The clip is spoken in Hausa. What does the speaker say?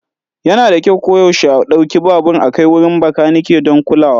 Yana da kyau koyaushe a ɗauki babur a kai wurin makaniki don kulawa.